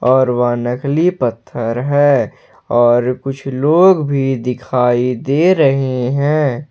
और वहां नकली पत्थर है और कुछ लोग भी दिखाई दे रहे हैं।